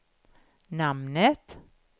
namnet